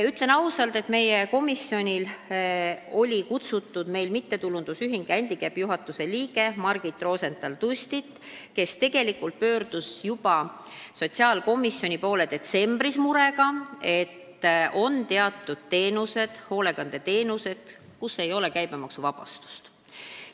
Ütlen ausalt, et meie komisjoni istungile oli kutsutud ka MTÜ Händikäpp juhatuse liige Margit Rosental-Tustit, kes pöördus tegelikult juba detsembris sotsiaalkomisjoni poole murega, et meil teatud teenuste, hoolekandeteenuste puhul käibemaksuvabastust ei ole.